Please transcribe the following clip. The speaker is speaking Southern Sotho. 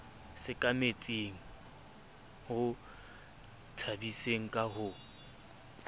sekametseng ho tshabiseng ka ho